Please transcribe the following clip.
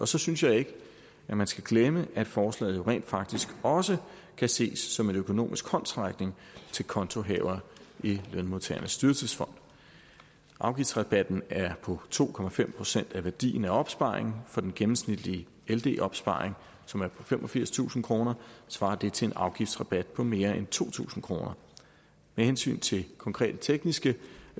så synes jeg ikke man skal glemme at forslaget jo rent faktisk også kan ses som en økonomisk håndsrækning til kontohavere i lønmodtagernes dyrtidsfond afgiftsrabatten er på to procent af værdien af opsparingen for den gennemsnitlige ld opsparing som er på femogfirstusind kr svarer det til en afgiftsrabat på mere end to tusind kroner med hensyn til konkrete tekniske